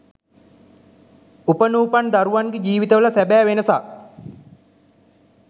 උපනූපන් දරුවන්ගේ ජීවිතවල සැබෑ වෙනසක්